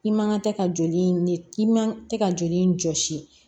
I man kan tɛ ka joli i man tɛ ka joli jɔsi